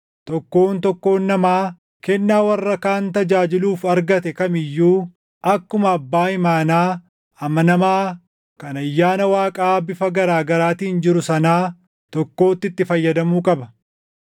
Tokkoon tokkoon namaa kennaa warra kaan tajaajiluuf argate kam iyyuu akkuma abbaa imaanaa amanamaa kan ayyaana Waaqaa bifa garaa gaaraatiin jiru sanaa tokkootti itti fayyadamuu qaba.